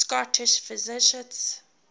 scottish physicists